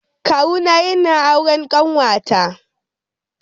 Kawuna yana auren kanwata.